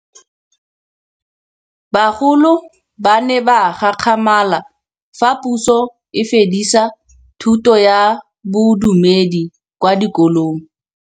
Bagolo ba ne ba gakgamala fa Pusô e fedisa thutô ya Bodumedi kwa dikolong.